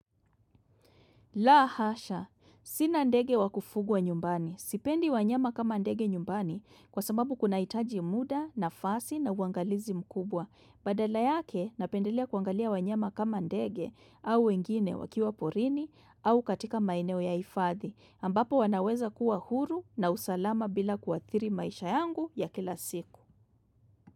La hasha. Sina ndege wakufugwa nyumbani. Sipendi wanyama kama ndege nyumbani kwa sababu kunahitaji muda nafasi na uangalizi mkubwa. Badala yake napendelea kuangalia wanyama kama ndege au wengine wakiwa porini au katika maeneo ya hifadhi ambapo wanaweza kuwa huru na usalama bila kuathiri maisha yangu ya kila siku.